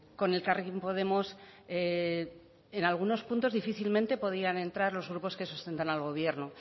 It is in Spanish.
con elkarrekin podemos en algunos puntos difícilmente podrían entrar los grupos que sustentan al gobierno